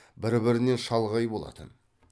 бір бірінен шалғай болатын